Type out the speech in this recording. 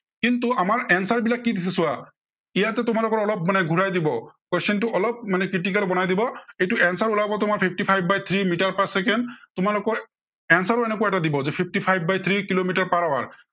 কিন্তু আমাৰ answer বিলাক কি দিছে চোৱা, ইয়াতো তোমালোকৰ অলপ মানে ঘুৰাই দিব, question টো অলপ মানে critical বনাই দিব, এইটো answer ওলাব তোমাৰ fifty five by three metre per second, তোমালোকৰ answer ও এনেকুৱা এটা দিব যে fifty five by three kilometre per hour